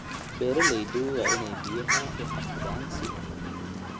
Beeraleydu waa inay biyaha u xafidaan si hufan.